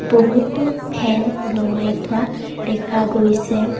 বহুতো ফেন ওলোমাই থোৱা দেখা গৈছে।